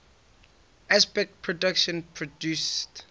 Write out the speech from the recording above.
aspect productions produced